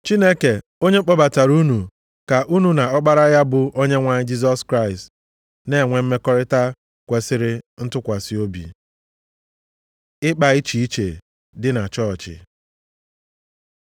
Chineke, onye kpọbatara unu ka unu na Ọkpara ya bụ Onyenwe anyị Jisọs Kraịst, na-enwe mmekọrịta kwesiri ntụkwasị obi. Ịkpa iche iche dị na Chọọchị